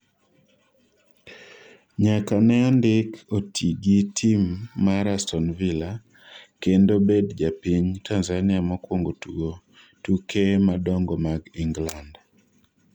nyaka ne ndik Otii gi tim mar Aston Villa ,kendo bedo japiny Tanzania mokwongo tugo tuke madongo mag Ingland